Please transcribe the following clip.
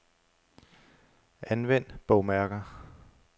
Anvend bogmærker.